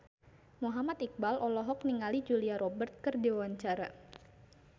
Muhammad Iqbal olohok ningali Julia Robert keur diwawancara